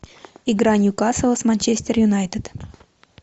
игра ньюкасла с манчестер юнайтед